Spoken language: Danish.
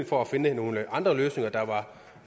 for at finde nogle andre løsninger der var